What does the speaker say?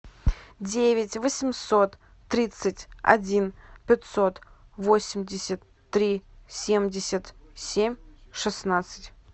девять восемьсот тридцать один пятьсот восемьдесят три семьдесят семь шестнадцать